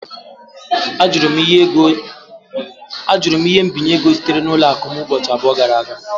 Ajụra m ihe mbinye ego sitere n'ụlọ akụ m ụbọchị abụọ gara aga